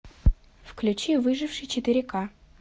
включи выживший четыре ка